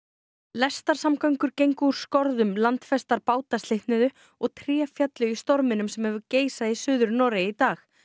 lestarsamgöngur gengu úr skorðum landfestar báta slitnuðu og tré féllu í storminum sem hefur geisað í Suður Noregi í dag